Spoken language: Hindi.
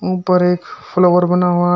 ऊपर एक फ्लोर बना हुआ--